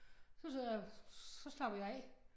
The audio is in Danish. Så det så så slapper jeg af